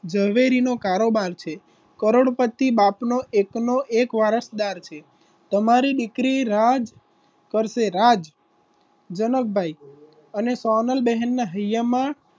ઝવેરીનો કારોબાર છે કરોડપતિ બાપનો એકનો એક વારસદાર છે તમારી દીકરી રાજ કરશે રાજ જનકભાઈ અને સોનલબેન ના હૈયામાં,